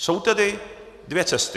Jsou tedy dvě cesty.